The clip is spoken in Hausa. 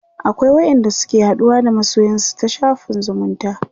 akwai wa ƴan da suke haɗuwa da masoyansu ta shafin zumunta